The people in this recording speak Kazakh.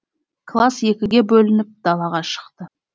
класс екіге бөлініп далаға шықты